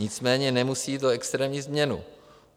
Nicméně nemusí jít o extrémní změnu.